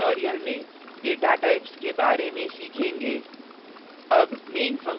हम अन्य tutorial में data types data के प्रकार के बारे में सीखेंगे